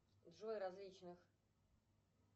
джой различных